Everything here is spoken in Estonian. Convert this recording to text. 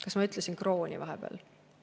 Kas ma ütlesin "krooni" vahepeal?